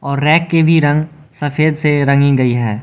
और रैक के भी रंग सफेद से रंगी गई है।